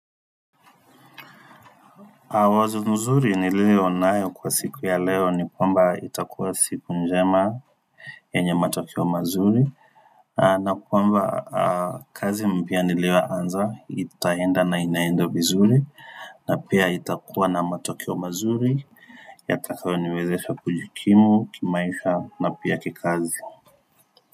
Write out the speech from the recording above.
Wazo nzuri niliyo nayo kwa siku ya leo ni kwamba itakuwa siku njema yenye matokeo mazuri, na kwamba kazi mpya niliyoanza itaenda na inaenda vizuri na pia itakuwa na matokeo mazuri Yatakayoniwezesha kujikimu kimaisha na pia kikazi.